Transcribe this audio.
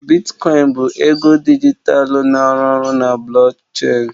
Bitkoin bụ ego dijitalụ na-arụ ọrụ na blockchain.